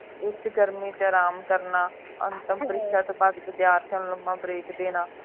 ਉੱਚ ਗਰਮੀ ਦੇ ਵਿਚ ਆਰਾਮ ਕਰਨਾ ਅੰਤ ਅੰਤਿਮ ਪਰਿਚਯ ਤੋਂ ਬਾਅਦ ਵਿਦਿਆਰਥੀਆਂ ਨੂੰ ਲੰਬਾ break ਦੇ ਨਾ